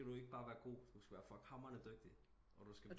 Så skal du ikke bare være god du skal være fuck hammerende dygtig og du skal